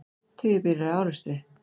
Tugir bíla í árekstri